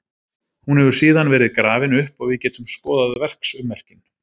Hún hefur síðan verið grafin upp og við getum skoðað verksummerkin.